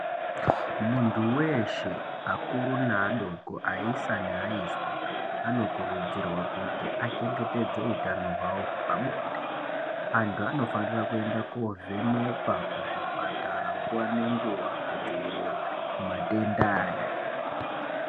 Muntu weshe akuru nevadoko vaisa nevaiswa vanokurudzirwa kuti achengetedze hutano hwavo hwepabonde. Antu anofanira kuenda kovhenekwa kuzvipatara nguwa ngenguwa kudzivirira matenda awa.